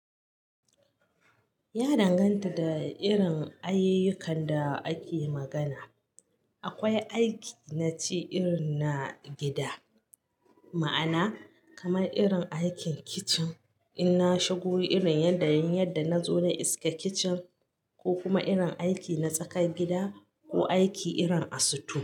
Ya danganta da irin ayyukan da ake magana. Akwai aiki na ci irin na gida, ma'ana kamar irin aikin kicin in na shigo irin yadda yin yadda na zo na iska kicin ko kuma irin aiki na tsakar gida ko aiki irin a sito.